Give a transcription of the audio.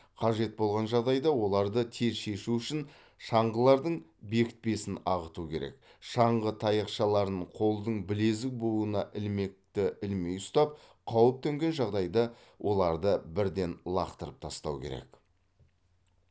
қажет болған жағдайда оларды тез шешу үшін шаңғылардың бекітпесін ағыту керек шаңғы таяқшаларын қолдың білезік буынына ілмекті ілмей ұстап қауіп төнген жағдайда оларды бірден лақтырып тастау керек